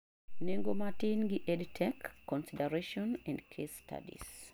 nengo matin gi EDTech: consideration and case studies